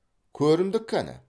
көрімдік кәні